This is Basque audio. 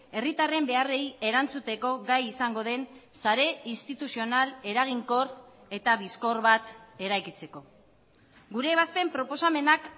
herritarren beharrei erantzuteko gai izango den sare instituzional eraginkor eta bizkor bat eraikitzeko gure ebazpen proposamenak